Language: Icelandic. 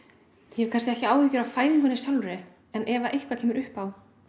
hef kannski ekki áhyggjur af fæðingunni sjálfri en ef eitthvað kemur upp á